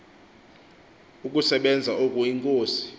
ukusebenza oku inkosi